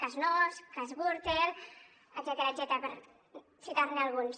cas nóos cas gürtel etcètera per citarne alguns